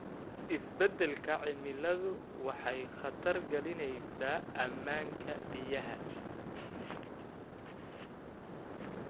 Isbeddelka cimiladu waxay khatar gelinaysaa ammaanka biyaha.